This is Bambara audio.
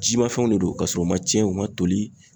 Jimafɛnw de do ka sɔrɔ u man cɛn u man toli.